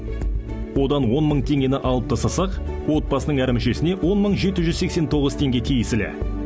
одан он мың теңгені алып тастасақ отбасының әр мүшесіне он мың жеті жүз сексен тоғыз теңге тиесілі